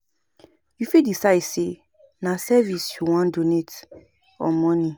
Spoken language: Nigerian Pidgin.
You fit decide sey na service you wan donate or money